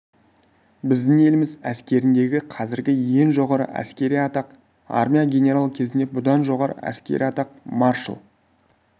біздің еліміз әскеріндегі қазіргі ең жоғары әскери атақ армия генералы кезінде бұдан жоғары әскери атақ маршал